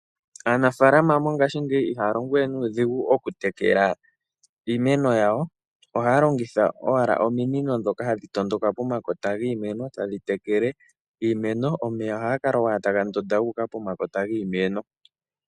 Aanafalama mongashingeyi iha ya longo we nuudhigu okutekela iimeno yawo. Ohaya longitha owala ominino ndhoka hadhi tondoka pomakota giimeno tadhi tekele iimeno, omeya ohaga kala owala taga tondoka ga uka pomakota giimeno.